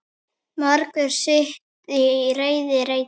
Margur sitt í reiði reitir.